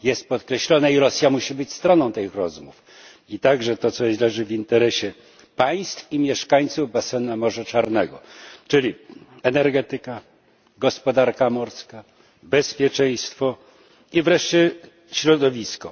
Jest to podkreślone i Rosja musi być stroną tych rozmów. I także to, co jest w naszym interesie, oraz w interesie państw i mieszkańców basenu Morza Czarnego, czyli energetyka, gospodarka morska, bezpieczeństwo i wreszcie środowisko.